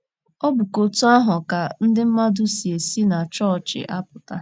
Ọ bụkwa otú ahụ ka ndị mmadụ si esi na chọọchị apụta